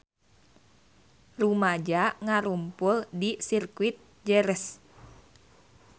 Rumaja ngarumpul di Sirkuit Jerez